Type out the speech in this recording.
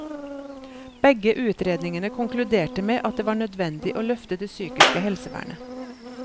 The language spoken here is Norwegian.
Begge utredningene konkluderte med at det var nødvendig å løfte det psykiske helsevernet.